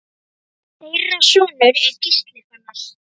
Þeirra sonur er Gísli Fannar.